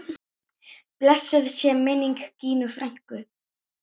Blessuð sé minning Gínu frænku.